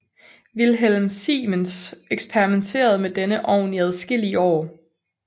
Wilhelm Siemens eksperimenterede med denne ovn i adskillige år